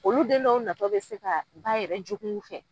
Olu den dow natɔ bɛ se ka ba yɛrɛ jogunw fɛ.